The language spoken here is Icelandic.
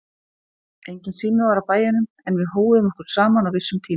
Enginn sími var á bæjunum en við hóuðum okkur saman á vissum tíma.